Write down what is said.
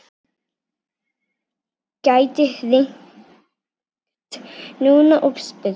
Gæti hringt núna og spurt.